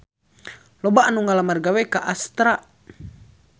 Loba anu ngalamar gawe ka Astra